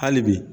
Hali bi